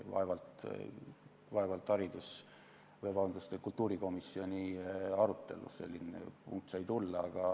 Vaevalt kultuurikomisjoni arutelus selline punkt sai ette tulla.